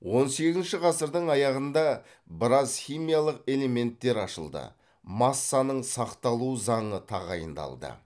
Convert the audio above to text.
он сегізінші ғасырдың аяғында біраз химиялық элементтер ашылды массаның сақталу заңы тағайындалды